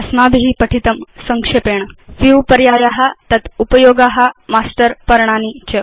अस्माभि पठितं संक्षेपेण View पर्याया तत् उपयोगा मास्टर् पर्णानि च